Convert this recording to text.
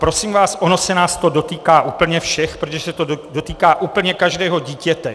Prosím vás, ono se nás to dotýká úplně všech, protože se to dotýká úplně každého dítěte.